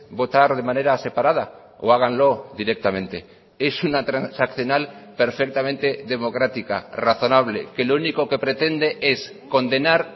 votar de manera separada o háganlo directamente es una transaccional perfectamente democrática razonable que lo único que pretende es condenar